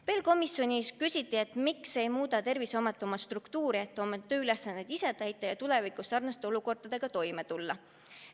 Veel küsiti komisjonis, miks ei muuda Terviseamet oma struktuuri, et oma tööülesanded ise täita ja tulevikus sarnaste olukordadega toime tulla.